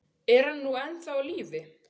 Er hann nú ennþá á lífi?